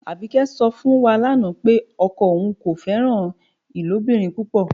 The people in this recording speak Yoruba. Abíkẹ́ sọ̀ fún wá láńà pé ọkọ ọun kò fẹran ilobìrín púpọ́.